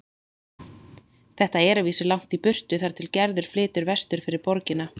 Þetta er að vísu langt í burtu þar til Gerður flytur vestur fyrir borgina.